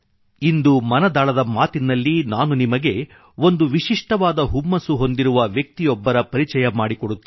ಇಂದು ಮನದಾಳದ ಮಾತಿನಲ್ಲಿ ನಾನು ನಿಮಗೆ ಒಂದು ವಿಶಿಷ್ಠವಾದ ಹುಮ್ಮಸ್ಸು ಹೊಂದಿರುವ ವ್ಯಕ್ತಿಯೊಬ್ಬರ ಪರಿಚಯ ಮಾಡಿಕೊಡುತ್ತೇನೆ